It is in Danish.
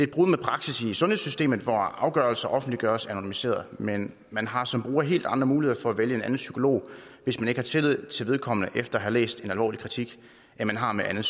brud med praksis i sundhedssystemet hvor afgørelser offentliggøres anonymiseret men man har som bruger helt andre muligheder for at vælge en anden psykolog hvis man ikke har tillid til vedkommende efter at have læst en alvorlig kritik end man har med andet